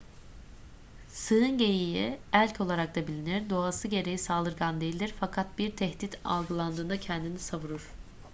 sığın geyiği elk olarak da bilinir doğası gereği saldırgan değildir fakat bir tehdit algıladığında kendini savunur